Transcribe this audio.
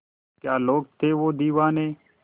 क्या लोग थे वो दीवाने